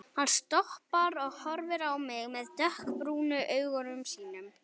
Hann stoppar og horfir á mig með dökkbrúnu augunum sínum.